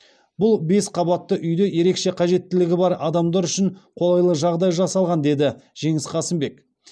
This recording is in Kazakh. бұл бес қабатты үйде ерекше қажеттілігі бар адамдар үшін қолайлы жағдай жасалған деді жеңіс қасымбек